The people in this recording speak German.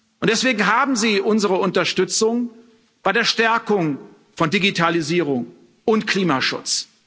Und deswegen haben Sie unsere Unterstützung bei der Stärkung von Digitalisierung und Klimaschutz.